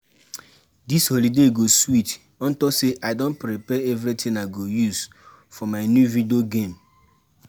Dis holiday go sweet unto say I don prepare everything I go use for my new video game